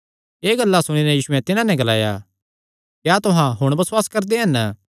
एह़ गल्लां सुणी नैं यीशुयैं तिन्हां नैं ग्लाया क्या तुहां हुण बसुआस करदे हन